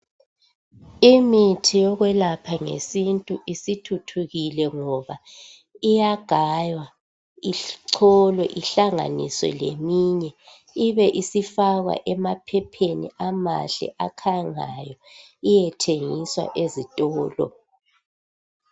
Imithi yokuyelapha ngesintu isithuthukile ngoba iyagaywa icholwe ihlanganiswe leyinye ibe isifakwa emaphepheni amahle akhangayo iyethengiswa ezitolo